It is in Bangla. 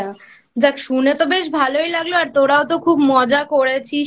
যাক শুনে তো বেশ ভালই লাগল আর তোরাও তো খুব মজা করেছিস